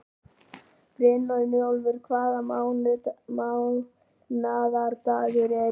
Brynjólfur, hvaða mánaðardagur er í dag?